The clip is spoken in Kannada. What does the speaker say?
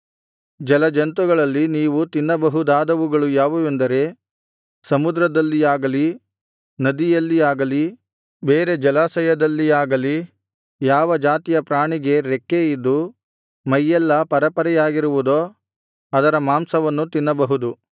ಜಲಜಂತುಗಳಲ್ಲಿ ನೀವು ತಿನ್ನಬಹುದಾದವುಗಳು ಯಾವುವೆಂದರೆ ಸಮುದ್ರದಲ್ಲಿಯಾಗಲಿ ನದಿಯಲ್ಲಿಯಾಗಲಿ ಬೇರೆ ಜಲಾಶಯದಲ್ಲಿಯಾಗಲಿ ಯಾವ ಜಾತಿಯ ಪ್ರಾಣಿಗೆ ರೆಕ್ಕೆ ಇದ್ದು ಮೈಯೆಲ್ಲಾ ಪರೆಪರೆಯಾಗಿರುವುದೋ ಅದರ ಮಾಂಸವನ್ನು ತಿನ್ನಬಹುದು